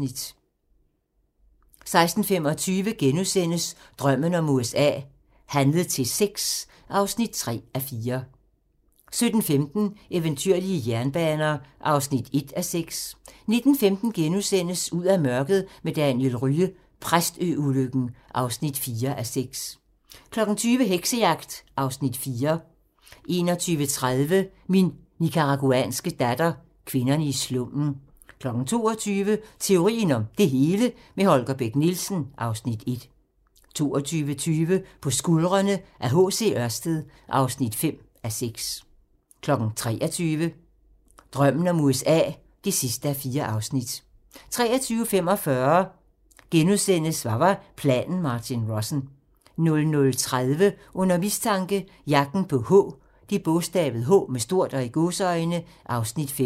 16:25: Drømmen om USA: Handlet til sex (3:4)* 17:15: Eventyrlige jernbaner (1:6) 19:15: Ud af mørket med Daniel Rye - Præstø-ulykken (4:6)* 20:00: Heksejagt (Afs. 4) 21:30: Min nicaraguanske datter - Kvinderne i slummen 22:00: Teorien om det hele - med Holger Bech Nielsen (Afs. 1) 22:20: På skuldrene af H. C. Ørsted (5:6) 23:00: Drømmen om USA (4:4) 23:45: Hvad var planen Martin Rossen? * 00:30: Under mistanke - Jagten på "H" (Afs. 5)